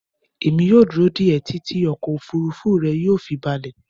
Mo máa dúró dé e títí ọkọ̀ òfuurufú rẹ yóò fi balẹ̀